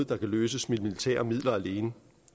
der kan løses med militære midler alene